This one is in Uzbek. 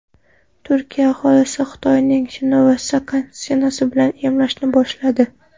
Turkiya aholisini Xitoyning Sinovac vaksinasi bilan emlashni boshladi.